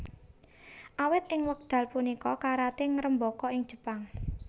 Awit ing wekdal punika karaté ngrembaka ing Jepang